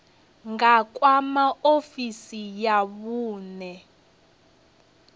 nga kwama ofisi ya vhune